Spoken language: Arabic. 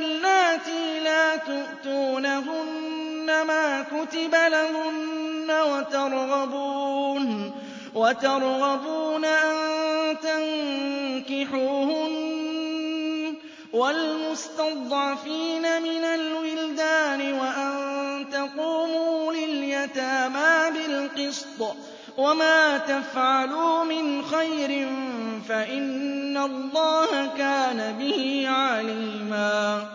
اللَّاتِي لَا تُؤْتُونَهُنَّ مَا كُتِبَ لَهُنَّ وَتَرْغَبُونَ أَن تَنكِحُوهُنَّ وَالْمُسْتَضْعَفِينَ مِنَ الْوِلْدَانِ وَأَن تَقُومُوا لِلْيَتَامَىٰ بِالْقِسْطِ ۚ وَمَا تَفْعَلُوا مِنْ خَيْرٍ فَإِنَّ اللَّهَ كَانَ بِهِ عَلِيمًا